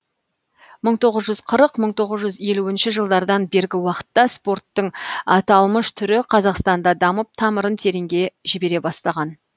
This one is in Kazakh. мың тоғыз жүз қырық мың тоғыз жүз елуінші жылдардан бергі уақытта спорттың аталмыш түрі қазақстанда дамып тамырын тереңге жібере бастаған